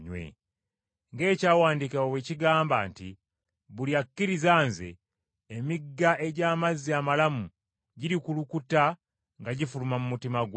Ng’Ekyawandiikibwa bwe kigamba nti buli akkiriza Nze emigga egy’amazzi amalamu girikulukuta nga gifuluma mu mutima gwe!”